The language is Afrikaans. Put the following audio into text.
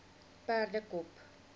perdekop